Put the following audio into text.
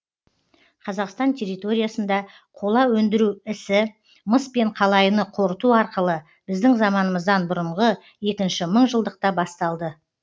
қазақстан территориясында қола өндіру ісі мыс пен қалайыны қорыту арқылы біздің заманымыздан бұрынғы екінші мыңжылдықта басталды